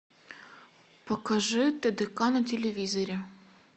покажи тдк на телевизоре